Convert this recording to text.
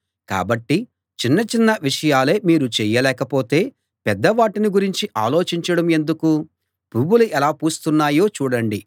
కాబట్టి చిన్న చిన్న విషయాలే మీరు చేయలేకపోతే పెద్దవాటిని గురించి ఆలోచించడం ఎందుకు పువ్వులు ఎలా పూస్తున్నాయో చూడండి